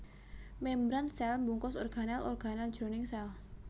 Mémbran sèl mbungkus organel organel jroning sèl